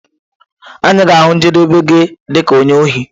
Anyị ga-ahụ njedebe gi dị ka onye ohi.